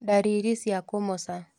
Ndariri cia kũmoca